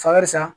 Fagali san